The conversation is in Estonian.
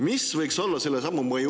Mis võiks olla selle sammu mõju …